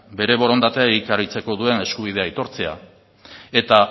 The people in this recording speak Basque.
bere borondatea egikaritzeko duen eskubidea aitortzea eta